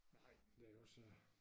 Nej men det også